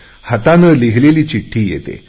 हाताने लिहिलेली चिठ्ठी येते